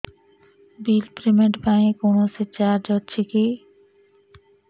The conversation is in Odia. ବିଲ୍ ପେମେଣ୍ଟ ପାଇଁ କୌଣସି ଚାର୍ଜ ଅଛି କି